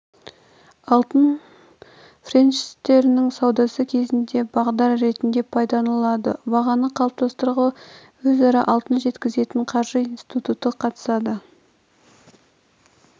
алтын фьючерстерінің саудасы кезінде бағдар ретінде пайдаланылады бағаны қалыптастыруға өзара алтын жеткізетін қаржы институты қатысады